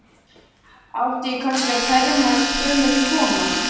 Átti ég kannski að fermast gömul kona?